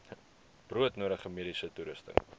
broodnodige mediese toerusting